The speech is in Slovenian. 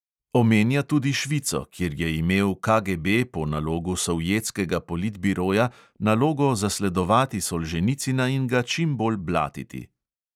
Omenja tudi švico, kjer je imel KGB po nalogu sovjetskega politbiroja nalogo zasledovati solženicina in ga čimbolj blatiti.